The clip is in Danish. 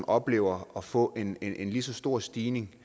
oplever at få en en lige så stor stigning